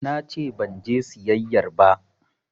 Nace banje siyayyar ba